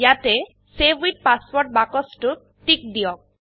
ইয়াতে save with password বাক্সটোত tick দিয়ক